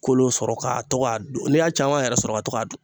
Kolo sɔrɔ ka to k'a dun n'i y'a caman yɛrɛ sɔrɔ ka to k'a dun